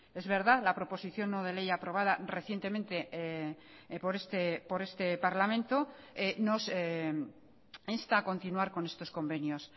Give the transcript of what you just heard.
es verdad la proposición no de ley aprobada recientemente por este parlamento nos insta a continuar con estos convenios